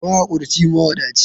Mahakurci, mawadaci.